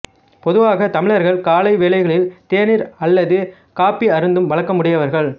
பொதுவாக தமிழர்கள் காலை வேளைகளில் தேநீர் அல்லது காப்பி அருந்தும் வழக்கம் உடையவர்கள்